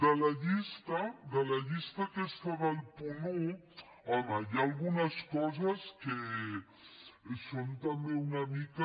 de la llista de la llista aquesta del punt un home hi ha algunes coses que són també una mica